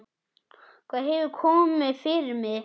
Hvað hefur komið fyrir mig?